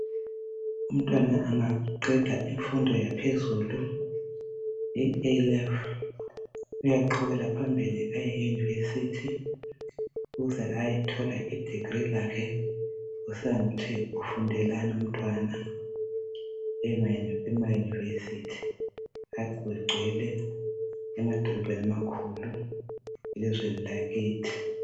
umntwana angaqeda imfundo yaphezulu i A Level uyaqhubekela phambili aye e university ukuze ayethola i degree lakhe kusiya ngokuthi ufundelani umntwana ema university kugcwele emadolobheni amakhulu elizweni lakithi